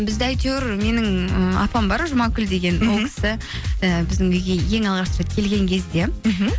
бізді әйтеуір менің ыыы апам бар жұмакүл деген ол кісі і біздің үйге ең алғаш рет келген кезде мхм